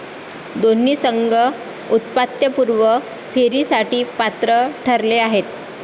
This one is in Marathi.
दोन्ही संघ उपांत्यपूर्व फेरीसाठी पात्र ठरले आहेत.